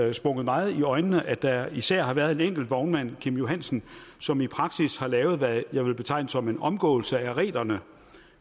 det sprunget meget i øjnene at der især har været en enkelt vognmand kim johansen som i praksis har lavet hvad jeg vil betegne som en omgåelse af reglerne